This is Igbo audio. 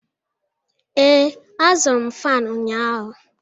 Ee, azụrụ m fan ụnyahụ.